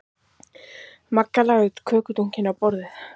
Magga lagði kökudunkinn á borðið.